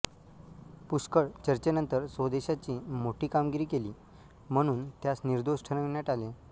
पुष्कळ चर्चेनंतर स्वदेशाची मोठी कामगिरी केली म्हणून त्यास निर्दोष ठरविण्यात आले